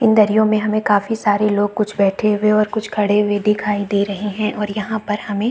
इन दरियो में हमें काफी सारे लोग कुछ बैठे हुए और कुछ खड़े हुए दिखाई दे रहै है और यहाँ पर हमें --